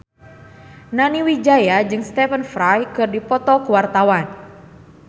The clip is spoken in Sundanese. Nani Wijaya jeung Stephen Fry keur dipoto ku wartawan